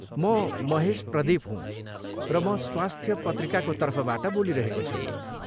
म महेश प्रदिप हूँ, र म स्वास्थ्य पत्रिकाको तर्फबाट बोलिरहेको छु।